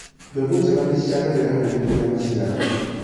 Mbegũ njega nĩ cishangagĩra hanene kũgĩa maciaro